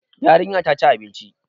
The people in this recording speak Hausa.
Yarinya ta ci abinci.